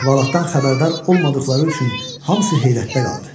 Əhvalatdan xəbərdar olmadıqları üçün hamısı heyrətdə qaldı.